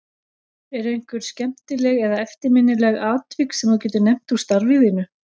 Eru einhver skemmtileg eða eftirminnileg atvik sem þú getur nefnt úr starfi þínu?